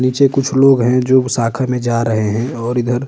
नीचे कुछ लोग हैं जो शाखा में जा रहे हैं और इधर --